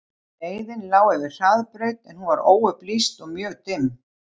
Leiðin lá yfir hraðbraut en hún var óupplýst og mjög dimm.